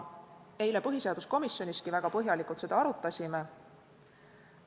Eile põhiseaduskomisjoniski arutasime seda väga põhjalikult.